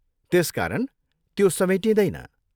त्यसकारण त्यो समेटिँदैन।